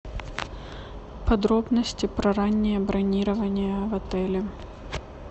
подробности про раннее бронирование в отеле